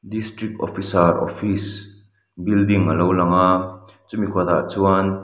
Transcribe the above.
district officer office building a lo lang a chu mi kawtah chuan --